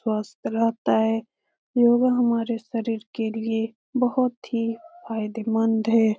मस्त रहता है योगा हमारे शरीर के लिए बहुत ही फायदे मंद है ।